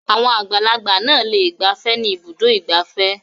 Àwọn àgbàlagbà náà le gbafẹ́ ní Ibùdó-ìgbafẹ́.